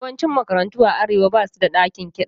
Yawancin makarantu a Arewa ba su da ɗakin kiɗa.